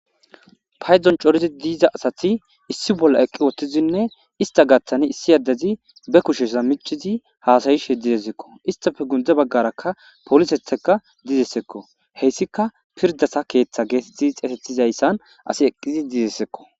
Paydzdon corizi diiza asati issi bolla eqqi uttizinne ista gaththani issi addezi be kusheza miichizi haasayish de'es istappe gunde baggaraka polisettika dizayssakko heyssika pirdasa keeththa geetetti xeesetizayssan asi eqqizi diizayssakko